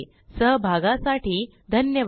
सहभागासाठी धन्यवाद